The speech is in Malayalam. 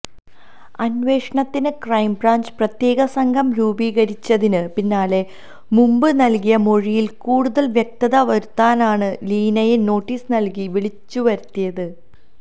അന്വേഷണത്തിന് ക്രൈംബ്രാഞ്ച് പ്രത്യേകസംഘം രൂപീകരിച്ചതിന് പിന്നാലെ മുമ്പ് നല്കിയ മൊഴിയില് കൂടുതല് വ്യക്തത വരുത്താനാണ് ലീനയെ നോട്ടീസ് നല്കി വിളിച്ചുവരുത്തിയത്